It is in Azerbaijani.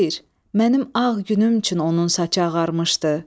Xeyr, mənim ağ günüm üçün onun saçı ağarmışdı.